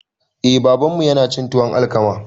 Eh babanmu yanacin tuwon alkama